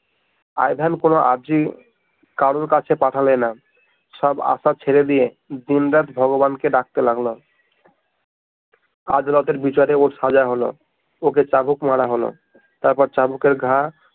I ভেন কোনো আর্যি কারো কাছে পাঠালে না সব আশা ছেড়ে দিয়ে দিন রাত ভগবান কে ডাকতে লাগলো আজ রাতের বিচারে ওর সাজা হলো, ওকে চাবুক মারা হলো তারপর চাবুকের ঘা